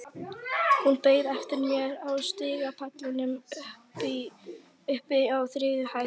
Hún beið eftir mér á stigapallinum uppi á þriðju hæð.